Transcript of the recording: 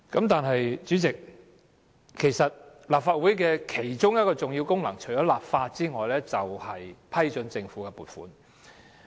但是，主席，立法會的其中一項重要功能，除立法外，便是批准政府的撥款。